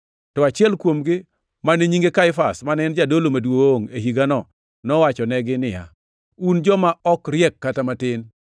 To achiel kuomgi, mane nyinge Kaifas, mane en jadolo maduongʼ e higano nowachonegi niya, “Un joma ok riek kata matin!